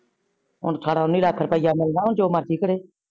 ਹੁਣ ਅਠਾਰਾ ਉਨੀ ਲਾਖ ਰੁਪਿਆ ਮਿਲਣਾ ਜੋ ਮਰਜੀ ਕਰੇ।